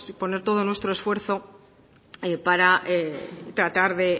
poner todo nuestro esfuerzo para tratar